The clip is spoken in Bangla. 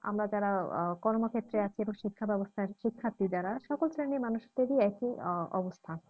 আমরা যারা আহ কর্মক্ষেত্রে আছি বা শিক্ষা ব্যবস্থায় শিক্ষার্থীর যারা সকল শ্রেণীর মানুষদেরই একই আহ অবস্থা।